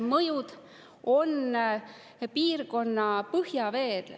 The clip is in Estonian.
Mõjud on piirkonna põhjaveele.